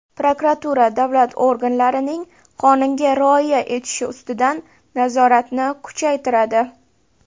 Prokuratura davlat organlarining qonunga rioya etishi ustidan nazoratni kuchaytiradi.